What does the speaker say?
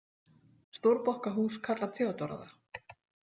Stórbokkahús kallar Theodóra það.